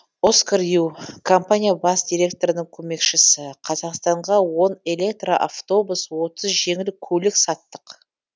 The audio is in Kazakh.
оскар ю компания бас директорының көмекшісі қазақстанға он электроавтобус отыз жеңіл көлік саттық